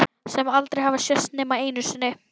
Sem aldrei hafa sést nema einu sinni.